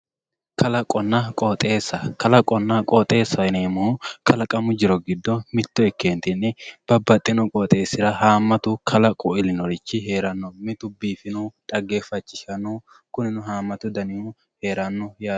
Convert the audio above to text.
Kalaqonna qooxxeessa, kalqonna qooxxeessa yineemohu kalaqamu jito gido mito ikkenitinni babaxino qooxxeessira kalaqu ilinotichi heeranno, mitu biifinohu xaggeefachishanohu kunino haamatu fanihu heeranno yaate.